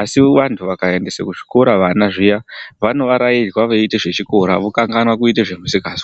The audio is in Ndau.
asi bantu vakaendesa kuzvikora vana zviuani vanovarairwa vachiita zvechikora vokanhanwa kuita zvemisikazwa.